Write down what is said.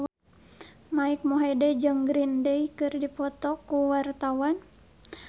Mike Mohede jeung Green Day keur dipoto ku wartawan